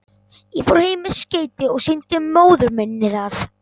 Ég fór heim með skeytið og sýndi móður minni það.